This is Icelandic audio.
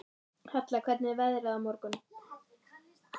Hella, hvernig er veðrið á morgun?